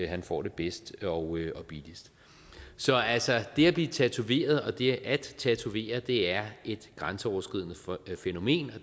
han får det bedst og billigst så altså det at blive tatoveret og det at tatovere er et grænseoverskridende fænomen